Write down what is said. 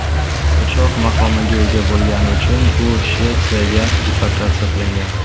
Qochoq maqomiga ega bo‘lgani uchun, u Shvetsiyaga deportatsiya qilingan.